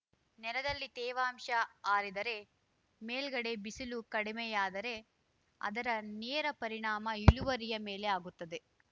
ನೆರದಲ್ಲಿ ತೇವಾಂಶ ಆರಿದರೆ ಮೇಲ್ಗಡೆ ಬಿಸಿಲು ಕಡಿಮೆಯಾದರೆ ಅದರ ನೇರ ಪರಿಣಾಮ ಇಳುವರಿಯ ಮೇಲೆ ಆಗುತ್ತದೆ